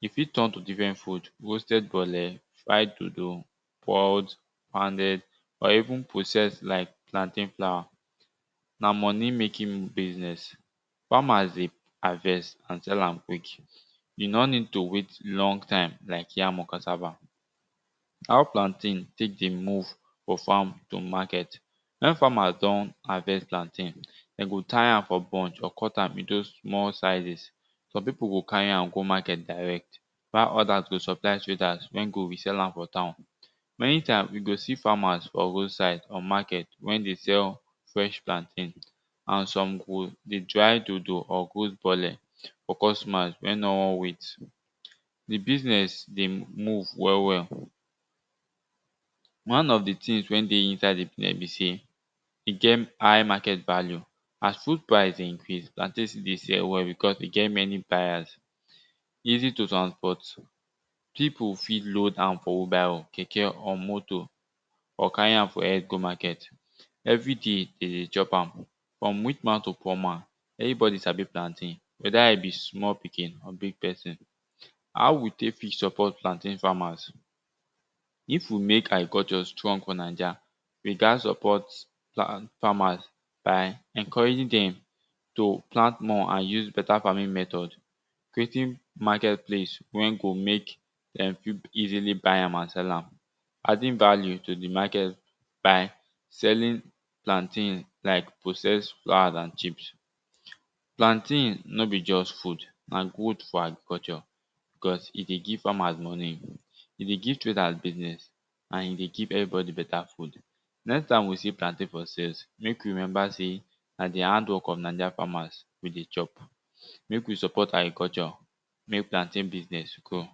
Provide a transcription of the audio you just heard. e fit turn to differnt food roasted bole, fried dodo, boiled poubded or even processed like plantain flour, na moni making business farmers dey harvest and sell am quick. E nor need to wait long time like yam or cassava. How plantain tek dey move from farm to market, wen farmers don harvest plantain, dey go tie am for bunch or cut am into small sizes, some pipu go carry am go market direct while others go supply traders wen go resell am for town aytime you go see farmers for road side or market wen dey sell fresh plantain and some go dey try dodo or roast bole for customer wey won wait. Di business dey move well well. One of di things wen dey inside there be sey, e get high market value. As food price dey increase, plantain still dey sell well bcus we get many buyers. Easy to transport, pipu fit load am for wheel barrow, keke or motor or carry am for head go market every day de dey chop am frum rich man to poor man. Everybody sabi plantain weda e be small pikin or big pesin. How we take fit support plantain farmers If we mek agriculture strong for naija, we gat support farm farmers by encouraging dem to plant more and use beta farming method, creating market place wen go mek um pipu easily buy am and sell am. Adding value to di market by seling plantain like processed flours and chips. Plantain no be just food, na goods for agriculture because e dey give farmers moni, e dey give traders business and e dey give everybody beta food. Next time we see plantain for sales, mek we remember sey na di hand work of Nigeria farmers wey dey chop, mek we support agriculture mek plantain business dey grow.